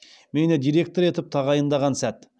мені директор етіп тағайындаған сәт